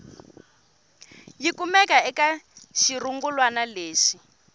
yi kumeke eka xirungulwana lexi